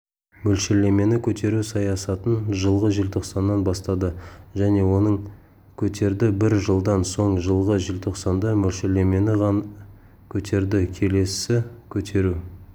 мөлшерлемені көтеру саясатын жылғы желтоқсаннан бастады және оны көтерді бір жылдан соң жылғы желтоқсанда мөлшерлемені -ға көтерді келесі көтеру